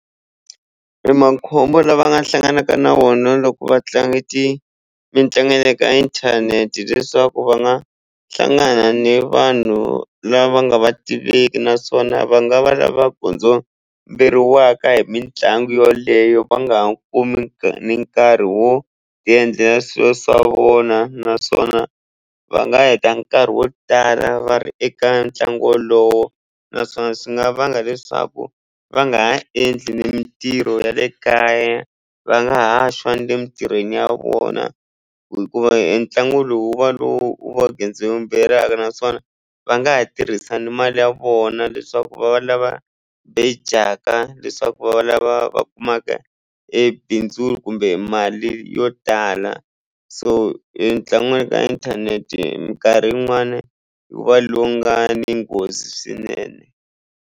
Makhombo la va nga hlanganaka na wona loko va tlanga ti mitlangu ya le ka inthanete leswaku va nga hlangana ni vanhu lava nga va tiveki naswona va nga va lava hi mitlangu yoleyo va ha nga kumi ni nkarhi wo endlela swilo swa vona naswona va nga heta nkarhi wo tala va ri eka ntlangu wolowo naswona swi nga vanga leswaku va nga ha endli ni mitirho ya le kaya va nga ha swa ni le emitirhweni ya vona hikuva entlangu lowu wu va lowu wa naswona va nga ha tirhisa ni mali ya vona leswaku va va lava bejaka leswaku va lava va kumaka e bindzu kumbe mali yo tala so entlangu wa ka inthanete mikarhi yin'wani wu va longa ni nghozi swinene.